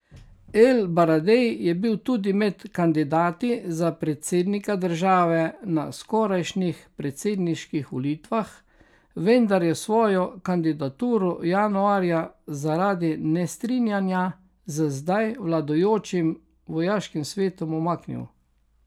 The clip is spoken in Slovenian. El Baradej je bil tudi med kandidati za predsednika države na skorajšnjih predsedniških volitvah, vendar je svojo kandidaturo januarja zaradi nestrinjanja z zdaj vladajočim vojaškim svetom umaknil.